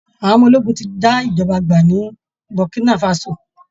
Àwọn ọmọ ológun ti já ìjọba gbà ní Burkinafaso